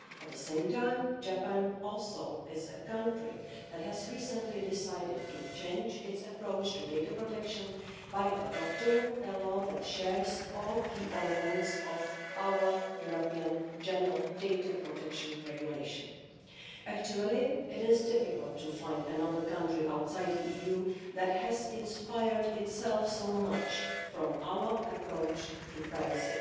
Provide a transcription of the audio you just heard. At the same time, Japan also is a country that has recently decided to change its approach to data protection by adopting a law that shares all key elements of our European General Data Protection Regulation. Actually, it is difficult to find another country outside the EU that has inspired itself so much from our approach to privacy.